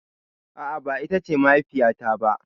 A'a ba ita ce mahaifiya ta ba.